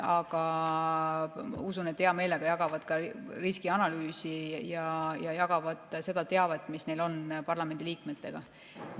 Aga usun, et nad hea meelega jagavad ka riskianalüüsi ja seda teavet, mis neil on, parlamendiliikmetega.